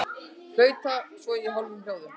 Flauta svo í hálfum hljóðum.